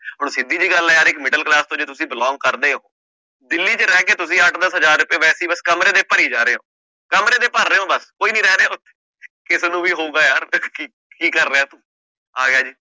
ਹੁਣ ਸਿੱਧੀ ਜਿਹੀ ਗੱਲ ਹੈ ਯਾਰ ਇੱਕ middle class ਤੋਂ ਜੇ ਤੁਸੀਂ belong ਕਰਦੇ ਹੋ ਦਿੱਲੀ ਚ ਰਹਿ ਕੇ ਤੁਸੀਂ ਅੱਠ ਦਸ ਹਜ਼ਾਰ ਰੁਪਏ ਵੈਸੇ ਹੀ ਬਸ ਕਮਰੇ ਦੇ ਭਰੀ ਜਾ ਰਹੇ ਹੋ, ਕਮਰੇ ਦੇ ਭਰ ਰਹੇ ਹੋ ਬਸ ਕੋਈ ਨੀ ਰਹਿ ਰਿਹਾ ਉੱਥੇ ਕਿਸੇ ਨੂੰ ਵੀ ਹੋਊਗਾ ਯਾਰ ਦੇਖ ਕੇ ਕੀ ਕੀ ਕਰ ਰਿਹਾ ਤੂੰ